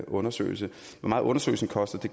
undersøgelse hvor meget undersøgelsen koster